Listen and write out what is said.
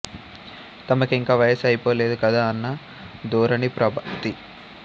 తమకి ఇంకా వయసు అయిపోలేదు కదా అన్న ధోరణి ప్రభది